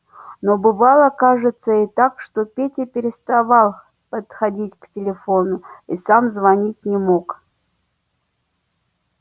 но бывало кажется так что петя переставал подходить к телефону и сам звонить не мог